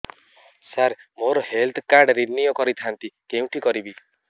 ସାର ମୋର health card renew କରିଥାନ୍ତି କେଉଁଠି କରିବି